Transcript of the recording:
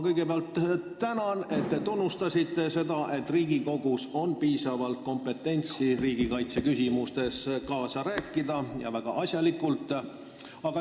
Kõigepealt ma tänan, et te tunnistasite seda, et Riigikogus on piisavalt kompetentsust riigikaitseküsimustes väga asjalikult kaasa rääkida.